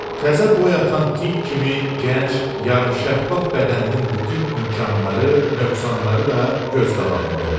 Təzə boy atan tint kimi gənc, yarımşəffaf bədəninin bütün imkanları, nöqsanları da göz qabağında olur.